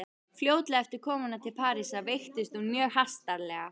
Fljótlega eftir komuna til Parísar veiktist hún mjög hastarlega.